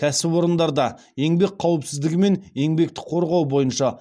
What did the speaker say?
кәсіпорындарда еңбек қауіпсіздігі мен еңбекті қорғау бойынша